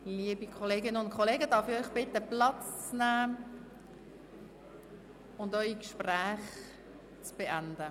Liebe Kolleginnen und Kollegen, darf ich Sie bitten, Platz zu nehmen und ihre Gespräche zu beenden?